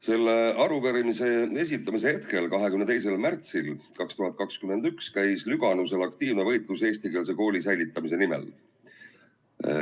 Selle arupärimise esitamise hetkel, 22. märtsil 2021 käis Lüganusel aktiivne võitlus eestikeelse kooli säilitamise nimel.